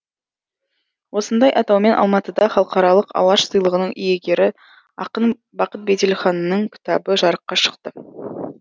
осындай атаумен алматыда халықаралық алаш сыйлығының иегері ақын бақыт беделханның кітабы жарыққа шықты